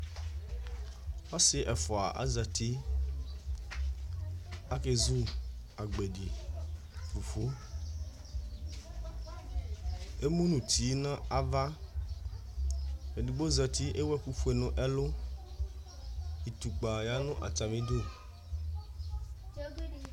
Ɔsi ɛfʋa azɛti Akezu agbedi fufu Emu nʋ ʋti nʋ ava Ɛdigbo zɛti ewu ɛkʋ fʋe nʋ ɛlu Itʋkpa ya nʋ atami idu